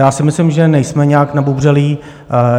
Já si myslím, že nejsme nijak nabubřelí.